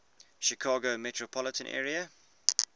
chicago metropolitan area